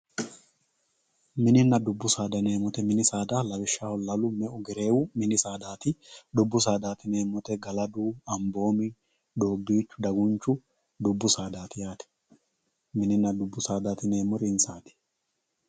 Minina dubbu saada yinemowoyite lawishshaho lalu me`u gereewu mini saadtai dubbu sadati yinemori galadu anmboomi doobichu dagunchu dubbu sadati yaate minina dubbu sadati yinemori insati.